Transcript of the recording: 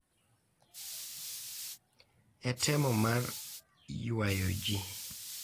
E temo mar ywayo ji,